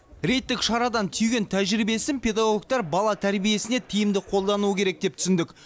рейдтік шарадан түйген тәжірибесін педагогтар бала тәрбиесіне тиімді қолдануы керек деп түсіндік